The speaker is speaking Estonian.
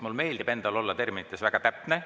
Mulle meeldib olla terminites väga täpne.